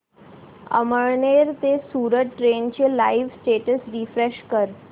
अमळनेर ते सूरत ट्रेन चे live status refresh कर